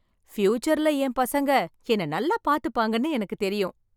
ஃபியூச்சர்ல என் பசங்க என்ன நல்லா பார்த்துப்பாங்கன்னு எனக்கு தெரியும்